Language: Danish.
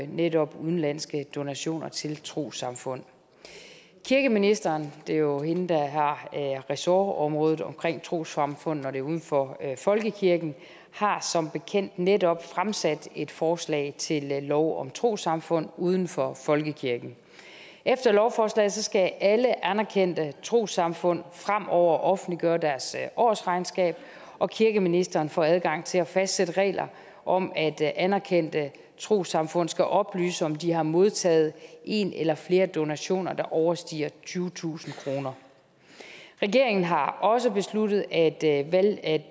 netop udenlandske donationer til trossamfund kirkeministeren det er jo hende der har ressortområdet omkring trossamfund når det er uden for folkekirken har som bekendt netop fremsat et forslag til lov om trossamfund uden for folkekirken efter lovforslaget skal alle anerkendte trossamfund fremover offentliggøre deres årsregnskab og kirkeministeren får adgang til at fastsætte regler om at anerkendte trossamfund skal oplyse om de har modtaget en eller flere donationer der overstiger tyvetusind kroner regeringen har også besluttet at